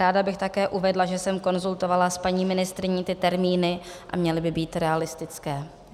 Ráda bych také uvedla, že jsem konzultovala s paní ministryní ty termíny a měly by být realistické.